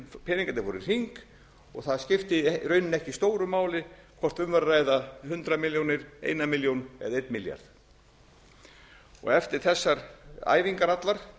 peningarnir fóru í hring og það skipti í rauninni ekki stóru máli hvort um var að ræða hundrað milljónir eina milljón eða einn milljarð eftir þessar æfingar allar